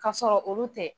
K'a sɔrɔ olu tɛ